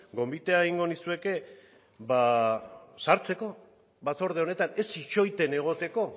gonbite egingo nizueke sartzeko batzorde honetan ez itxoiten egoteko